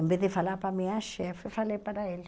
Em vez de falar para a minha chefe, falei para ele.